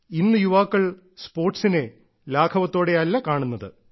ഇന്ന് യുവാക്കൾ സ്പോർട്സിനെ ലാഘവത്തോടെയല്ല കാണുന്നത്